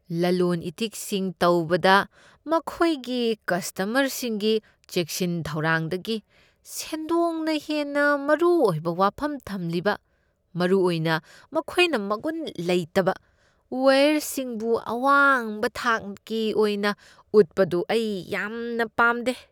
ꯂꯂꯣꯟ ꯏꯇꯤꯛꯁꯤꯡ ꯇꯧꯕꯗ ꯃꯈꯣꯏꯒꯤ ꯀꯁꯇꯃꯔꯁꯤꯡꯒꯤ ꯆꯦꯛꯁꯤꯟ ꯊꯧꯔꯥꯡꯗꯒꯤ ꯁꯦꯟꯗꯣꯡꯅ ꯍꯦꯟꯅ ꯃꯔꯨ ꯑꯣꯏꯕ ꯋꯥꯐꯝ ꯊꯝꯂꯤꯕ, ꯃꯔꯨꯑꯣꯏꯅ ꯃꯈꯣꯏꯅ ꯃꯒꯨꯟ ꯂꯩꯇꯕ ꯋꯥꯏꯌꯔꯁꯤꯡꯕꯨ ꯑꯋꯥꯡꯕ ꯊꯥꯛꯀꯤ ꯑꯣꯏꯅ ꯎꯠꯄꯗꯨ, ꯑꯩ ꯌꯥꯝꯅ ꯄꯥꯝꯗꯦ ꯫